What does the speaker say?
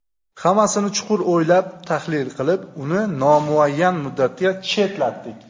Hammasini chuqur o‘ylab, tahlil qilib, uni nomuayyan muddatga chetlatdik.